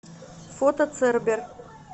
фото цербер